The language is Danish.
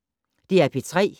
DR P3